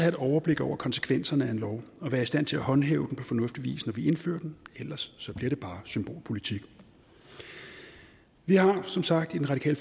et overblik over konsekvenserne af en lov og være i stand til at håndhæve loven på fornuftig vis når vi indfører den ellers bliver det bare symbolpolitik vi har som sagt i den radikale